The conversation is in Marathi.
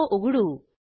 तो उघडू